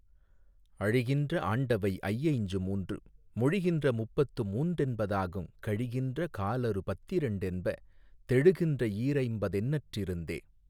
அழிகின்ற ஆண்டவை ஐயைஞ்சு மூன்று மொழிகின்ற முப்பத்து மூன்றென்பதாகுங் கழிகின்ற காலறு பத்திரண்டென்ப தெழுகின்ற ஈரைம்பதெண்ணற்றிருந்தே.